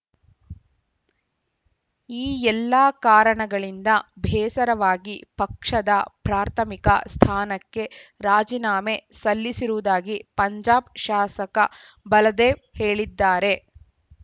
ಈ ಎಲ್ಲ ಕಾರಣಗಳಿಂದ ಬೇಸರವಾಗಿ ಪಕ್ಷದ ಪ್ರಾಥಮಿಕ ಸ್ಥಾನಕ್ಕೆ ರಾಜೀನಾಮೆ ಸಲ್ಲಿಸಿರುವುದಾಗಿ ಪಂಜಾಬ್‌ ಶಾಸಕ ಬಲದೇವ್‌ ಹೇಳಿದ್ದಾರೆ